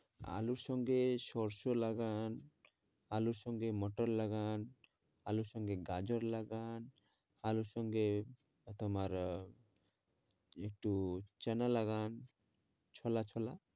আলুর সঙ্গে সরষে লাগান আলুর সঙ্গে মোটর লাগান আলুর সঙ্গে গাজর লাগান আলুর সঙ্গে তোমার আহ একটু চানা লাগান ছোলা ছোলা